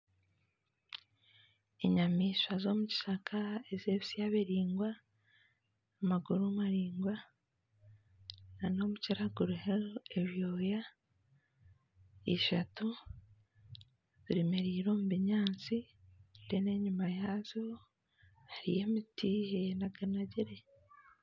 Enyamaishwa z'omu kishaka ez'ebisya biringwa, amaguru maringwa na n'omukira guriho ebyoya. Ishatu zeemereire omu binyaasi reero enyima yaazo hariyo emiti eyenaganagire.